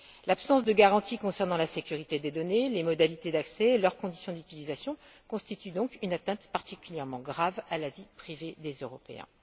L'absence de garanties concernant la sécurité des données, les modalités d'accès et leurs conditions d'utilisation constituent donc une atteinte particulièrement grave à la vie privée des Européens.